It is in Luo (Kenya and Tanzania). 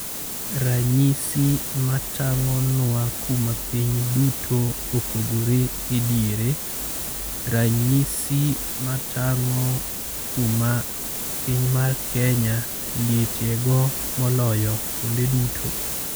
Ranyisi ma tang'onwa kuma piny duto opogore e diere, ranyisi ma tang'o kuma piny mar Kenya lietie go moloyo kuonde duto.